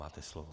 Máte slovo.